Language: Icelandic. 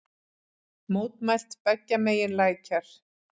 Mótmælt beggja megin lækjar